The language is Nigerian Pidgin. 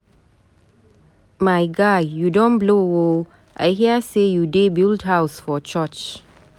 My guy, you don blow oo, I hear say you dey build house for church.